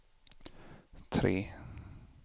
tre